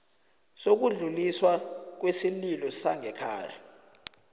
sokudluliswa kwesililo sangekhaya